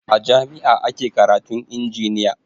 A jami'a ake karatun injiniya